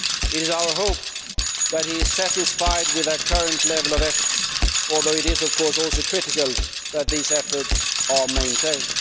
It is our hope that he is satisfied with the current level of efforts, although it is, of course, also critical that these efforts are maintained.